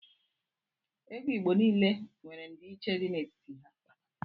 Ego igbo nile nwere ndi iche di n' etiti ha.